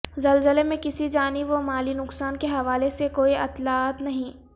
زلزلے میں کسی جانی و مالی نقصان کے حوالے سے کوئی اطلاعات نہیں